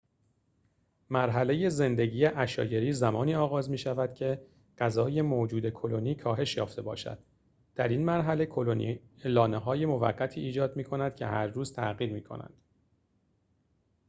مرحله زندگی عشایری زمانی آغاز می‌شود که غذای موجود کلونی کاهش یافته باشد در این مرحله کلونی لانه‌های موقتی ایجاد می‌کند که هر روز تغییر می‌کنند